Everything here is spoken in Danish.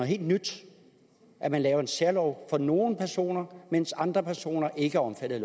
helt nyt at man laver en særlov for nogle personer mens andre personer ikke er omfattet